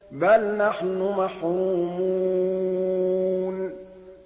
بَلْ نَحْنُ مَحْرُومُونَ